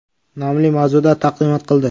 nomli mavzuda taqdimot qildi.